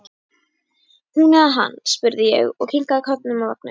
Hún eða hann? spurði ég og kinkaði kollinum að vagninum.